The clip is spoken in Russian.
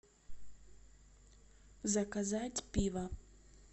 заказать пиво